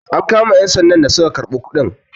am kama 'yansandan da suka karɓi kudin?